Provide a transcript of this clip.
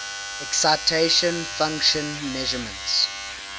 excitation function measurements